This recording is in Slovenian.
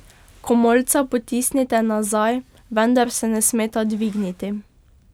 Komolca potisnite nazaj, vendar se ne smeta dvigniti.